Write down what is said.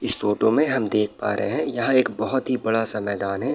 इस फोटो में हम देख पा रहे है यहाँ एक बहुत ही बड़ा सा मैदान है।